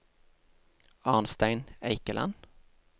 Arnstein Eikeland